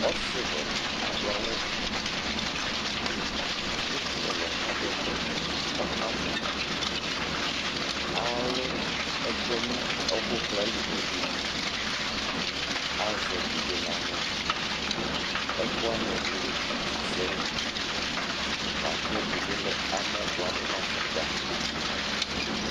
ɔsi wɛ di ado awu ekele ɛlɔ ko ado ɛkɔtɔ ɔka mɔ alo ɛko no ɛko kla li ko okeyi azɛ ɛdi bi no ala ɛko wani ɛdi lɛ iti sɛ ɛlu lako ɛdi bi lɛ amɔ boa do no afokpa